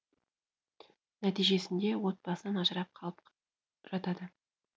нәтижесінде отбасынан ажырап қалып жатады